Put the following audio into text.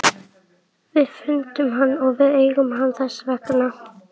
Við fundum hann og við eigum hann þess vegna.